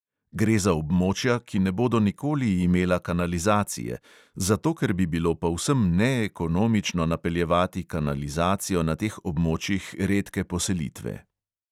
Gre za območja, ki ne bodo nikoli imela kanalizacije, zato ker bi bilo povsem neekonomično napeljevati kanalizacijo na teh območjih redke poselitve.